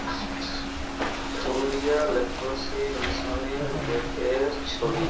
Purulia leprosy mission -এর gate -এর ছবি ।